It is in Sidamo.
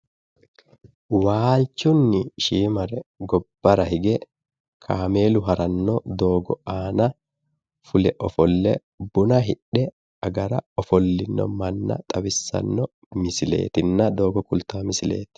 Waalchunni shiimare gobbara hige fule ofolle buna hidhe agara ofollino manna xawissanno misileetinna doogo kultaa misileeti.